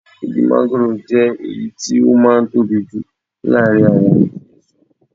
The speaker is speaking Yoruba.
Igi manugoro jẹ́ èyí tó máa ń tóbi jù láàárín àwọn igi èso.